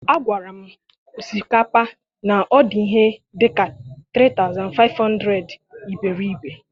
Agwara m osikapa na ọ dị ihe dịka 3500 iberibe.